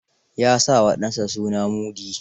Ya sa wa ɗansa suna Mudi.